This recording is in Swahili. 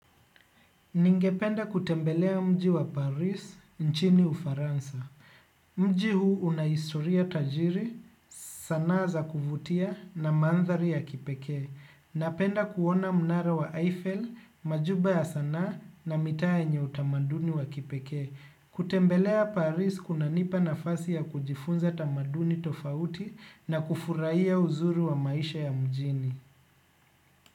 Ningependa kutembelea mji wa Paris, nchini ufaransa. Mji huu una historia tajiri, sanaa za kuvutia na mandhari ya kipekee. Napenda kuona mnara wa Eiffel, majumba ya sanaa na mitaa yenye utamaduni wa kipeke. Kutembelea Paris kunanipa nafasi ya kujifunza tamaduni tofauti na kufurahia uzuri wa maisha ya mjini.